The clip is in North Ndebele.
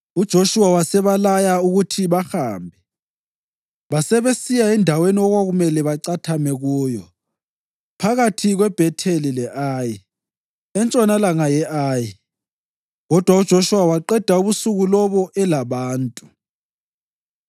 UJoshuwa wasebalaya ukuthi bahambe, basebesiya endaweni okwakumele bacathame kuyo phakathi kweBhetheli le-Ayi, entshonalanga ye-Ayi kodwa uJoshuwa waqeda ubusuku lobo elabantu.